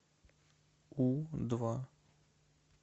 у два